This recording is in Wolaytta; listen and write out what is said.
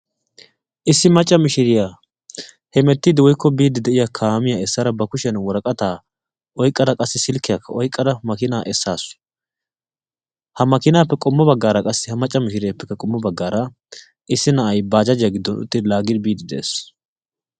Issi macca miishiriya heemettiidi woykko biidi de'iya kaamiya essara ba kushshiyan worqqataa oyqqada qassi silikkiyakka oyqqada makiinaa essaasu, ha makkiinaappe qommo baggaara qassi ha macca mishireeppekka qommo baggaara issi na'ay baajjajiya giddon uttidi laagidi biidi de'ees.